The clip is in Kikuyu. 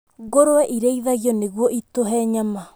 Ngũrũe irĩithagio nĩguo itũhe nyama.